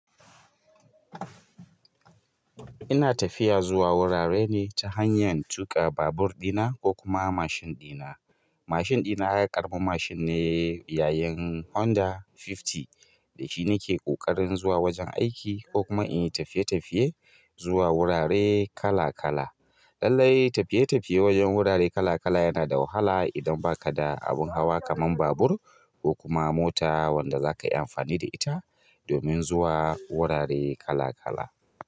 Ina tafiya zuwa wurare ne ta hanyar tuƙa babur ɗina ko kuma mashin ɗina. Mashin ɗina ya ƙarɓa mashin ne yayin Honda hamsin, da shi nike ƙoƙarin zuwa wajen aiki ko kuma in yi tafiye-tafiye zuwa wurare kala kala. Lallai tafiye-tafiye wajen wurare kala kala yana da wahala idan ba ka da abun hawa kamar babur ko kuma mota wanda za ka yi amfani da ita domin zuwa wurare kala kala.